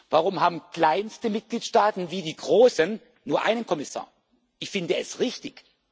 Warum haben auch kleinste Mitgliedsstaaten wie die großen einen Kommissar? Ich finde es richtig.